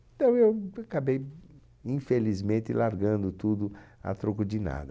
Então eu acabei, infelizmente, largando tudo a troco de nada.